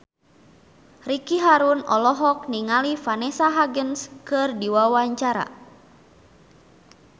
Ricky Harun olohok ningali Vanessa Hudgens keur diwawancara